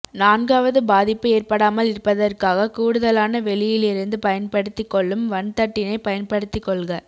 நான்காவது பாதிப்பு ஏற்படாமல் இருப்பதற்காக கூடுதலான வெளியிலிருந்து பயன்படுத்தி கொள்ளும் வன்தட்டினை பயன்படுத்திகொள்க